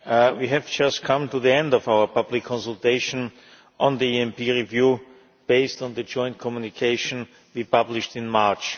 We have just come to the end of our public consultation on the ENP review based on the joint communication we published in March.